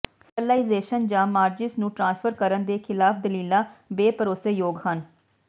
sterilisation ਜਾਂ ਮਾਰਿਜਸ ਨੂੰ ਟ੍ਰਾਂਸਫਰ ਕਰਨ ਦੇ ਖਿਲਾਫ ਦਲੀਲਾਂ ਬੇਭਰੋਸੇਯੋਗ ਹਨ